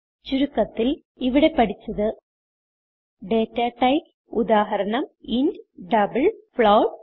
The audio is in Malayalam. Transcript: ചുരുക്കത്തിൽ ഇവിടെ പഠിച്ചത് ഡാറ്റ ടൈപ്സ് ഉദാഹരണം ഇന്റ് ഡബിൾ ഫ്ലോട്ട്